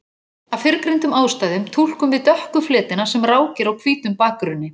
Af fyrrgreindum ástæðum túlkum við dökku fletina sem rákir á hvítum bakgrunni.